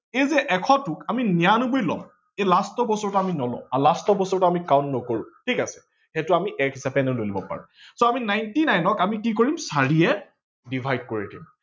এইযে এশটোক আমি নিৰান্নবৈ লও এই last ৰ বছৰটো আমি নলও। last বছৰটো আমি count নকৰো ঠিক আছে ।সেইটো আমি এক হিচাপে এনেও লৈ লব পাৰো। ninety nine ক আমি কি কৰিম চাৰিয়ে divide কৰি দিম